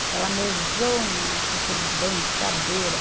Aquela mesona com aqueles banco, cadeira